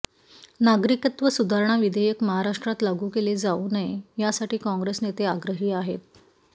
नागरिकत्व सुधारणा विधेयक महाराष्ट्रात लागू केले जाऊ नये यासाठी काँग्रेस नेते आग्रही आहेत